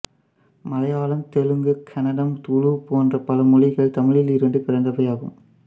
மலையாளம் தெலுங்கு கன்னடம் துளு போன்ற பல மொழிகள் தமிழில் இருந்து பிறந்தவையாகும்